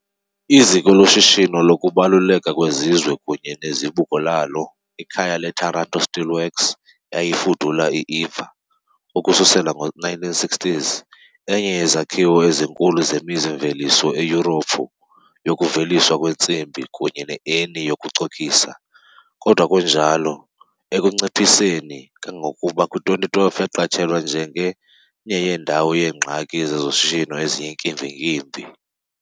Iziko loshishino lokubaluleka kwesizwe kunye nezibuko lalo, ikhaya le- Taranto steelworks, eyayifudula i-Ilva, ukususela ngo-1960s, enye yezakhiwo ezinkulu zemizi-mveliso eYurophu yokuveliswa kwentsimbi, kunye ne- ENI yokucokisa , kodwa kunjalo. ekunciphiseni, kangangokuba kwi-2012 yaqatshelwa njenge "indawo yeengxaki zezoshishino eziyinkimbinkimbi" .